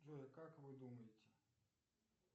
джой как вы думаете